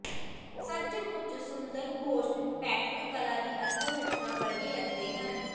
ਸੱਚਮੁੱਚ ਸੁੰਦਰ ਗੋਸ਼ਟ ਪੈਟਰਨ ਕਲਾ ਦੀ ਅਸਲ ਰਚਨਾ ਵਰਗੇ ਲੱਗਦੇ ਹਨ